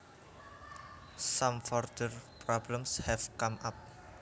Some further problems have come up